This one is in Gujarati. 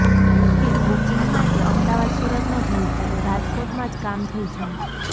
કે બુકીંગ માટે અમદાવાદ સુરત ન જવું પડે રાજકોટમાં જ કામ થઈ જાય